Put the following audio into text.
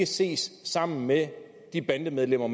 ses sammen med de bandemedlemmer